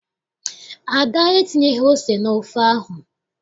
Ada entinyeghị ose n'ofe ahụ.